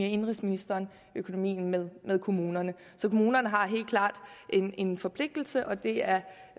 indenrigsministeren økonomien med kommunerne så kommunerne har helt klart en en forpligtelse og det er